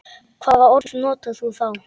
Hvaða orð notar þú þá?